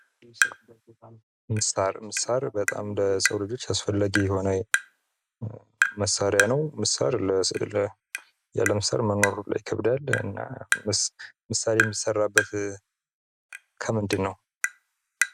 ምሳር ምሳር በጣም ለሰው ልሆች አስፈላጊ የሆነ መሳሪያ ነው። ያለ ምሳር መኖር ሁላ ይከብዳል፤ እና ምሳር የሚሰራበት ከምንድን ነው?